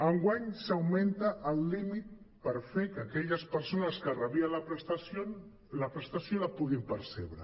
enguany s’augmenta el límit per fer que aquelles persones que rebien la prestació la puguin percebre